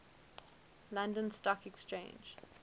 london stock exchange